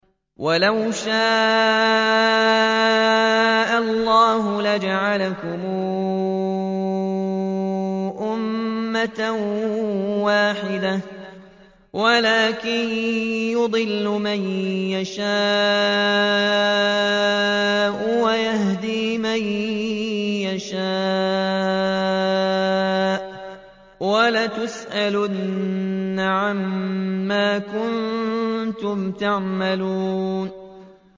وَلَوْ شَاءَ اللَّهُ لَجَعَلَكُمْ أُمَّةً وَاحِدَةً وَلَٰكِن يُضِلُّ مَن يَشَاءُ وَيَهْدِي مَن يَشَاءُ ۚ وَلَتُسْأَلُنَّ عَمَّا كُنتُمْ تَعْمَلُونَ